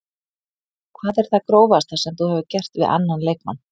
Hvað er það grófasta sem þú hefur gert við annan leikmann?